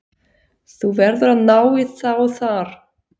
Þú verður að ná í þá þar.